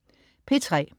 P3: